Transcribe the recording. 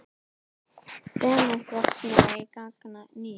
Sementsverksmiðjan í gang að nýju